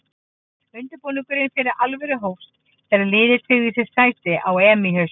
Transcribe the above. Undirbúningurinn fyrir alvöru hófst þegar liðið tryggði sér sæti á EM í haust.